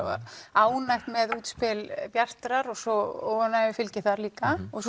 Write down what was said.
ánægðir með útspil Bjartrar framtíðar og svo óánægjufylgi líka og